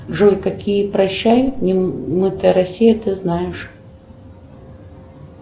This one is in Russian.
джой какие прощай немытая россия ты знаешь